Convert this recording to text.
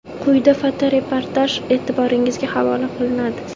Quyida fotoreportaj e’tiboringizga havola etiladi.